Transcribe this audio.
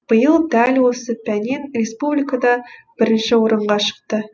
биыл дәл осы пәннен республикада бірінші орынға шықты